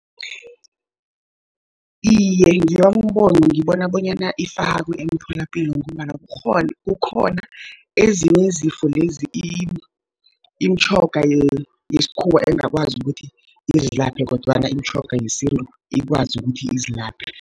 Iye, ngewami umbono ngibona bonyana ifakwe emtholapilo, ngombana kukhona ezinye izifo lezi imitjhoga yesikhuwa engakwazi ukuthi izilaphe kodwana imitjhoga yesintu ikwazi ukuthi izilaphe.